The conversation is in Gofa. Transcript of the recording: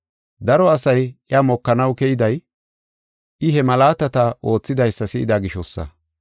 Daro asay iya mokanaw keyday, I he malaatata oothidaysa si7ida gishosa.